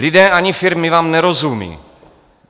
Lidé ani firmy vám nerozumí.